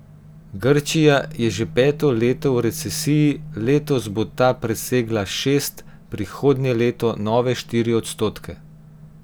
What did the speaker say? Grčija je že peto leto v recesiji, letos bo ta presegla šest, prihodnje leto nove štiri odstotke.